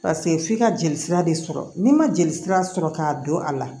Paseke f'i ka jelisira de sɔrɔ n'i ma jeli sira sɔrɔ k'a don a la